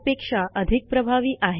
पेक्षा अधिक प्रभावी आहे